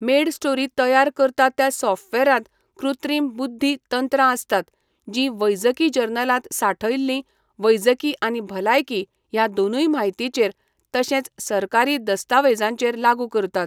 MedStory तयार करता त्या सॉफ्टवेअरांत कृत्रीम बुध्दी तंत्रां आसतात जीं वैजकी जर्नलांत सांठयल्ली वैजकी आनी भलायकी ह्या दोनूय म्हायतीचेर, तशेंच सरकारी दस्तावेजांचेर लागू करतात.